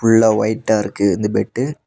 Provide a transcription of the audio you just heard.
Full லா ஒயிட் டா இருக்கு இந்த பெட்டு .